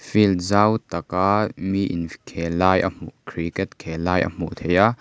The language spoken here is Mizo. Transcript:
field zau tak a mi in khel lai a hmuh cricket khel lai a hmuh theih a.